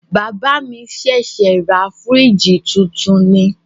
Bàbá mi ṣẹ̀ṣẹ̀ ra fìríjìì titun ni.